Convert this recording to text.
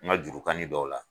N ka jurukani dɔw la.